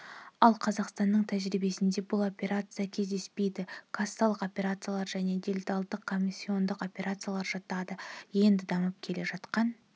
ал қазақстанның тәжірибесінде бұл операция кездеспейді кассалық операциялар және делдалдық-комиссиондық операциялар жатады енді дамып келе жатқан